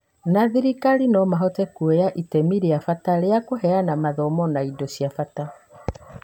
na thirikari no mahote kuoya itemi rĩa bata harĩ kũheana mathomo na indo cia bata.